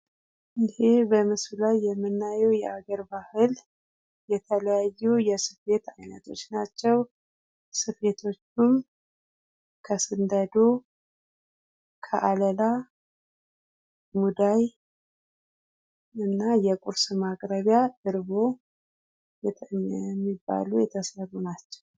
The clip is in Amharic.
ይህ በምስሉ ላይ የምናየው የአገር ባህል የተለያዩ የስፌት አይነቶች ናቸው። ስፌቶቹም ከስንደዶ ከአለላ ሙዳይ እና የቁርስ ማቅረቢያ ተደርጎ የሚባሉ የተሰሩ ናቸው።